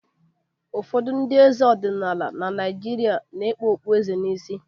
Ụfọdụ ndị eze ọdịnala na Naịjirịa na-ekpu okpueze n'isi